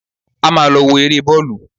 A máa lọ wo eré bọ́ọ̀lù